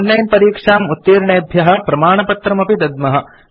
online परीक्षाम् उत्तीर्णेभ्य प्रमाणपत्रम् अपि दद्मः